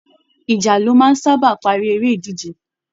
Ìjà ló máa ń sábà parí eré ìdíje